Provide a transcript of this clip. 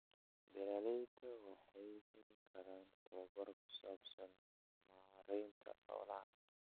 Beeralayda waxay heli karaan tababar ku saabsan maaraynta xoolaha